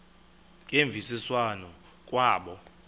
ngemvisiswano r kwabo